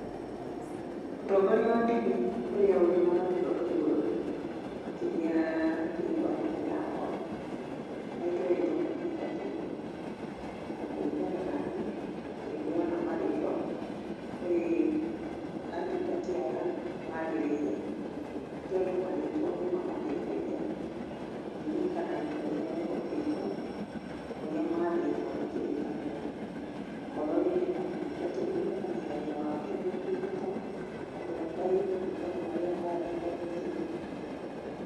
Mũtongoria wa ndini ũrĩa ũrĩ na gaturwa ka igũrũ makĩria thĩiniĩ wa ndini yakwa ahetwo rĩtwa mũtungatĩri. Na kũringana naniĩ, niĩ nĩndĩrona marĩtwa kũrĩ atungati aya magĩrĩire, nĩ tondũ marĩtwa nĩmamateithagia kũririkana wĩra ũrĩa mehokeirwo norĩa mathĩtwo nĩ kĩrĩkanĩro. Okorwo rĩngĩ nĩ ta mũtungatĩri, akamenya wĩra wake nĩ gũtungata andũ a Ngai kũringana na ũrĩa athĩtwo nĩ kĩrĩkanĩro.